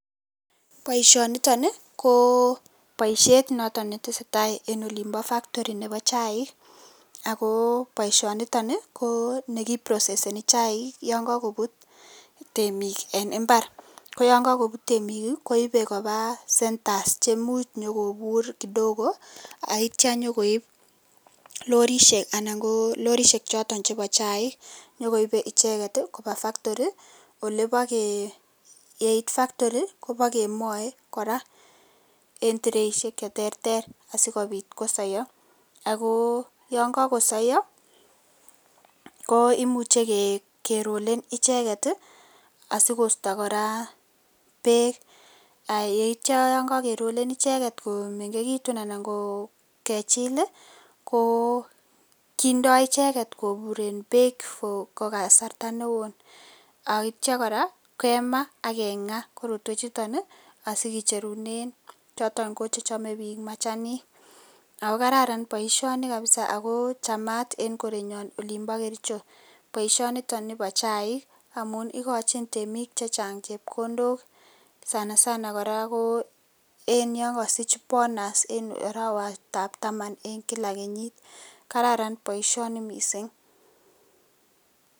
Baishoniton ko baishet noton netesetai en factori noton Nebo chaik ako baishoniton ko nekiproseseni chaik yangakobut temik en imbar AK yangakobut temik kobute Koba centers cheimuch konyokobur kidogo aitya konyo lorishek anan ko lorishek choton chebo chaik nyokoibe icheket Koba factori olebakemae korÃ a en treishek cheterter asikobit kosaya ako yangasayok ko imuche korolen ichenken sikosta bek yetyo yangagerolen icheket komengekitun anan kechil kendoinicheket koburen bek en kasarta neon aityo koraa kemaa akenga korotwek chuton asikecherunen choton chechame bik machanik akokararan baishoni kabisa akochamat en kerenyon en olimbo kericho baishoniton Nebo chaik amun ikochin temik chechang chepkondok sanasana koraa ko en yangasich bonus en arawet ab Taman en kila kenyit kararan baishoni mising